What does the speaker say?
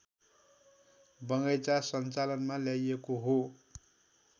बगैंचा सञ्चालनमा ल्याइएको हो